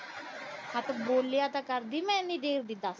ਹਾਂ, ਤਾਂ ਬੋਲਿਆਂ ਤਾਂ ਕਰਦੀ ਇੰਨੀ ਦੇਰ ਦੀ ਮੈਂ।